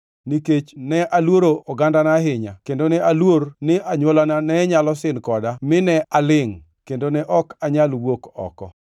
nikech ne aluoro ogandana ahinya kendo ne aluor ni anywolana ne nyalo sin koda mine alingʼ, kendo ne ok anyal wuok oko.